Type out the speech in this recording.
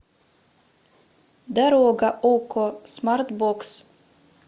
дорога окко смартбокс